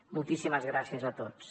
moltíssimes gràcies a tots